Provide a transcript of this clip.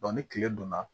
ni tile donna